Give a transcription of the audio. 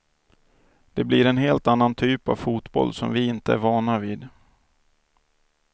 Det blir en helt annan typ av fotboll som vi inte är vana vid.